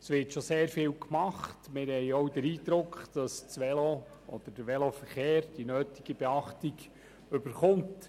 Es wird bereits sehr viel gemacht, und wir haben auch den Eindruck, dass das Velo oder der Veloverkehr die nötige Beachtung erhält.